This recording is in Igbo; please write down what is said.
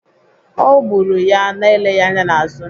Ọ gburu ya na-eleghị anya n'azụ.